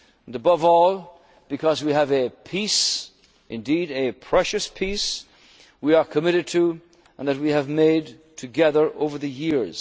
and socially. Above all because we have a peace, indeed a precious peace, we are committed to and that we have made together